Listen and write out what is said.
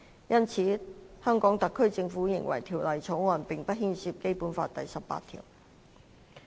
因此，香港特區政府認為《條例草案》並不牽涉《基本法》第十八條。